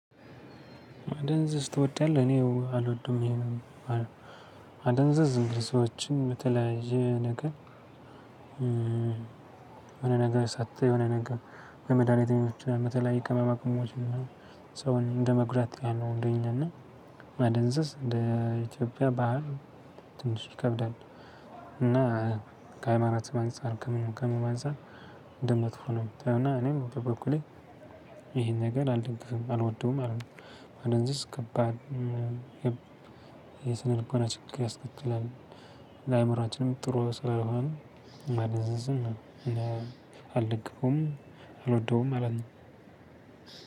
አደንዝዝ ትወዳለህ እኔ አልወድም ይሄንን አደንዝዝ ዝም ብለህ ሰዎችን በተለያየ ነገር የሆነ ነገር ሰጥተህ የሆነ ነገር ወይ መድሃኒቶችን በተለያየ ቅመማቅመሞች ሰውን እንደመጉዳት ያለው እንደኛ እና ማደንዘዝ እንደ ኢትዮጵያ ባህል ትንሽ ይከብዳል። እና ከሃይማኖትም አንፃር ከምኑም ከምኑም አንፃር እንደመጥፎ ነው። እና እኔም በበኩሌ ይሄን ነገር አልደግፍም አልወደውም ማለት ነው። አደንዝዝ ከባድ የስነ ልቦና ችግር ያስከትላል። ለአእምሮአችንም ጥሩ ስላልሆነ ማደንዘዝን አልደግፈውም አልወደውም ማለት ነው።